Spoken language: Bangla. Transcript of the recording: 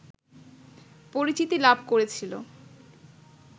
পরিচিতি লাভ করেছিল